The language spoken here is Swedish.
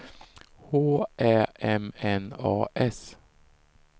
H Ä M N A S